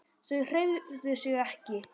Þau hreyfðu sig ekki.